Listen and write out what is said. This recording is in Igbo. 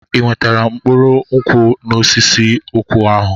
Ị nwetara mkpụrụ nkwụ n'osisi nkwụ ahụ?